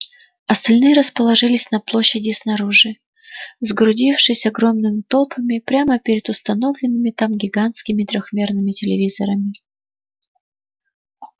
остальные расположились на площади снаружи сгрудившись огромным толпами прямо перед установленными там гигантскими трёхмерными телевизорами